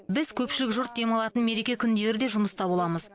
біз көпшілік жұрт демалатын мереке күндері де жұмыста боламыз